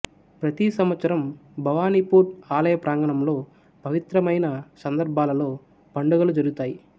ప్రతి సంవత్సరం భవానీపూర్ ఆలయ ప్రాంగణంలో పవిత్రమైన సందర్భాలలో పండుగలు జరుగుతాయి